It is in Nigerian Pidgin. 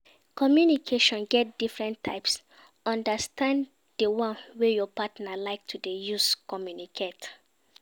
Communication get different types understand di one wey your partner like to de use communicate